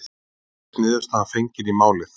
Nú virðist niðurstaða fengin í málið